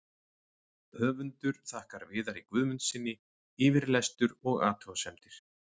Höfundur þakkar Viðari Guðmundssyni yfirlestur og athugasemdir.